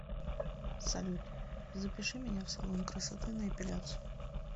салют запиши меня в салон красоты на эпиляцию